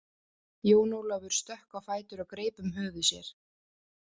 Jón Ólafur stökk á fætur og greip um höfuð sér.